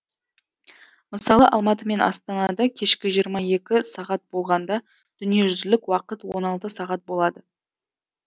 мысалы алматы мен астанада кешкі жиыра екі сағат болғанда дүниежүзілік уақыт он алты сағат болады